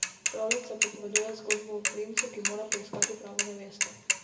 Pravljica pripoveduje zgodbo o princu, ki mora poiskati pravo nevesto.